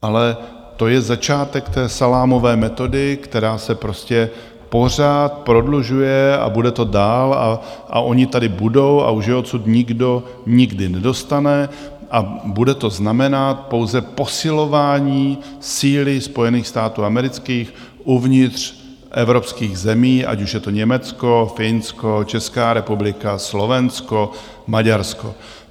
Ale to je začátek té salámové metody, která se prostě pořád prodlužuje, a bude to dál a oni tady budou a už je odsud nikdo nikdy nedostane a bude to znamenat pouze posilování síly Spojených států amerických uvnitř evropských zemí, ať už je to Německo, Finsko, Česká republika, Slovensko, Maďarsko.